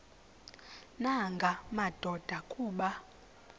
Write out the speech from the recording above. nanga madoda kuba